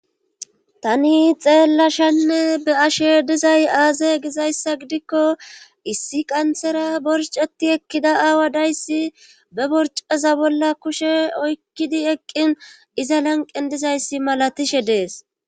Tani xeellashanne be ashe dizay aaze gizayssa gidikko issi qanthera borceti ekkida aawa dayssi be borcaza bolla kushe oykkidi eqqin iza lanqen dizayssi malatishe dees